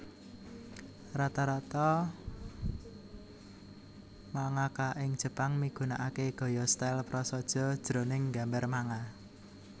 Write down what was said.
Rata rata mangaka ing Jepang migunakaké gaya style prasaja jroning nggambar manga